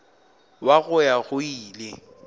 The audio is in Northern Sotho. wa go ya go ile